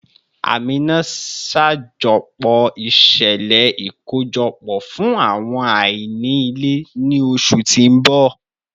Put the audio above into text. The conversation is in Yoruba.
Amina, ṣajọpọ iṣẹlẹ ikojọpọ fun awọn aini ile ni oṣu ti n bọ